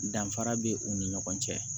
Danfara bɛ u ni ɲɔgɔn cɛ